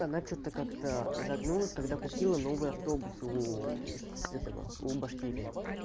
она что-то как-то загнулась когда купила новые автобусы у этого у башкирии